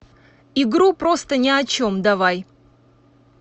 игру просто ни о чем давай